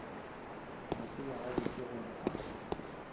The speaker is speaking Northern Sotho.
a tseba gabotse gore a